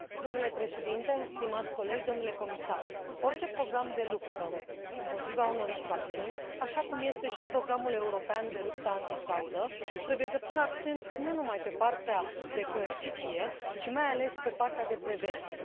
Domnule președinte, stimați colegi, domnule comisar, orice program de luptă împotriva unor infracțiuni, așa cum este și programul european de luptă antifraudă trebuie să pună accent nu numai pe partea de coerciție, ci, mai ales, pe partea de prevenție.